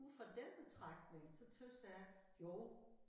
Ud fra den betragtning så tøs jeg jo